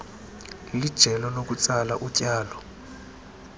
lijelo lokutsala utyalo